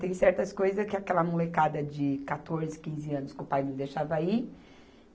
Tem certas coisas que aquela molecada de quatorze, quinze anos que o pai não deixava ir.